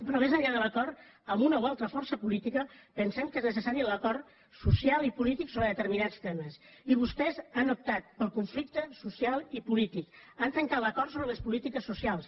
però més enllà de l’acord amb una o altra força política pensem que és necessari l’acord social i polític sobre determinats temes i vostès han optat pel conflicte social i polític han trencat l’acord sobre les polítiques socials